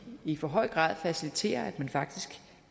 i for høj grad faciliterer at man faktisk